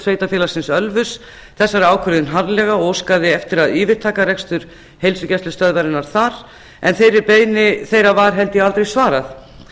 sveitarfélagsins ölfuss þessari ákvörðun harðlega og óskaði eftir að yfirtaka rekstur heilsugæslustöðvarinnar þar en þeirri beiðni var held ég aldrei svarað